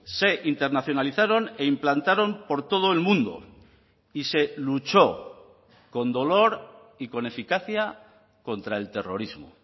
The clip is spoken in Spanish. se internacionalizaron e implantaron por todo el mundo y se luchó con dolor y con eficacia contra el terrorismo